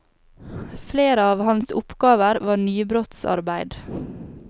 Flere av hans oppgaver var nybrottsarbeid.